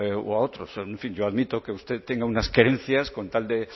u a otros en fin yo admito que usted tenga unas querencias con tal de